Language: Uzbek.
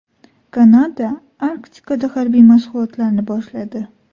Kanada Arktikada harbiy mashg‘ulotlarni boshladi.